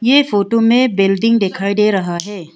ये फोटो में बिल्डिंग दिखाई दे रहा है।